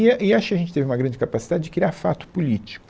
E, e acho que a gente teve uma grande capacidade de criar fato político.